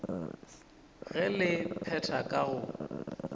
ge le phetha ka go